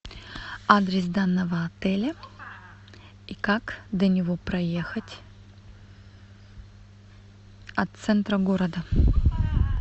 адрес данного отеля и как до него проехать от центра города